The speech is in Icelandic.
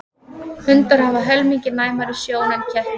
Hundar hafa helmingi næmari sjón en kettir.